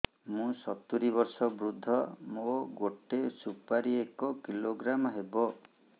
ମୁଁ ସତୂରୀ ବର୍ଷ ବୃଦ୍ଧ ମୋ ଗୋଟେ ସୁପାରି ଏକ କିଲୋଗ୍ରାମ ହେବ